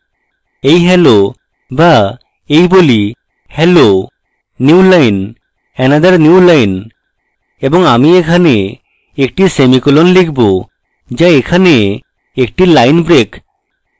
এই hello বা এই বলি hello new line another new line এবং semi এখানে একটি সেমিকোলন লিখব যা এখানে একটি line break